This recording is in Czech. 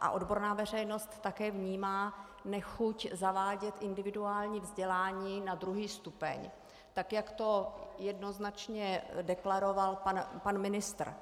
a odborná veřejnost také vnímá, nechuť zavádět individuální vzdělání na druhý stupeň, tak jak to jednoznačně deklaroval pan ministr.